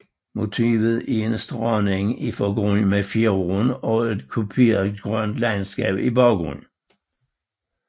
Motivet er en strandeng i forgrunden med fjorden og et kuperet grønt landskab i baggrunden